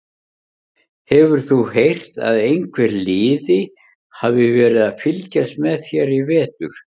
Hefur þú heyrt að einhver liði hafi verið að fylgjast með þér í vetur?